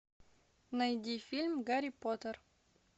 найди фильм гарри поттер